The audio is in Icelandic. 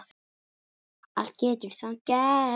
Allt getur samt gerst.